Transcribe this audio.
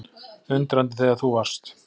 Undrandi þegar þú varst